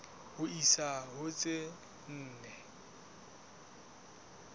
ho isa ho tse nne